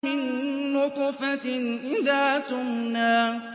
مِن نُّطْفَةٍ إِذَا تُمْنَىٰ